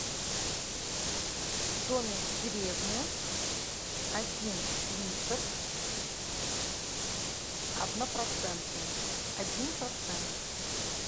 домик в деревне один литр однопроцентный один процент